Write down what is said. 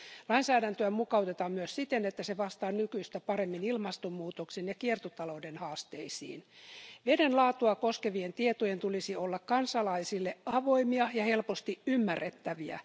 Lainsäädäntöä mukautetaan myös siten, että se vastaa nykyistä paremmin ilmastonmuutoksen ja kiertotalouden haasteisiin. Veden laatua koskevien tietojen tulisi olla kansalaisille avoimia ja helposti ymmärrettäviä.